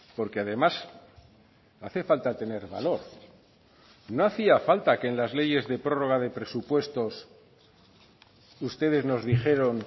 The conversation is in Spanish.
porque además hace falta tener valor no hacía falta que en las leyes de prórroga de presupuestos ustedes nos dijeron